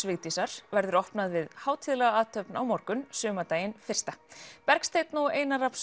Vigdísar verður opnað við hátíðlega athöfn á morgun sumardaginn fyrsta Bergsteinn og Einar